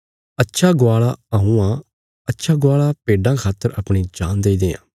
अच्छा गवाल़ा हऊँ आ अच्छा गवाल़ा भेड्डां खातर अपणी जान देई देआं